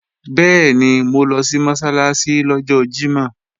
Bẹ́ẹ̀ni, mo lọ sí Mọ́sálásí lọ́jọ́ Jímọ̀